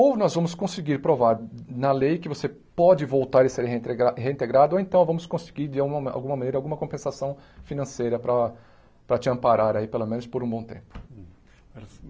Ou nós vamos conseguir provar na lei que você pode voltar e ser reintrega reintegrado, ou então vamos conseguir de auma alguma maneira alguma compensação financeira para para te amparar aí pelo menos por um bom tempo.